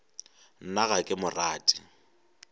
nna ga ke mo rate